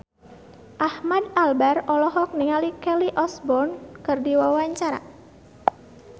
Ahmad Albar olohok ningali Kelly Osbourne keur diwawancara